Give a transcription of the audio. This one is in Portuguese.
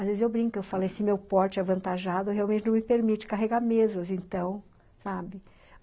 Às vezes eu brinco, eu falo, esse meu porte avantajado realmente não me permite carregar mesas, então, sabe?